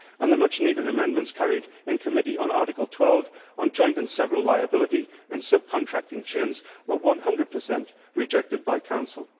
The much needed amendments carried in committee on Article 12, on joint and several liability in subcontracting chains, were 100 rejected by Council.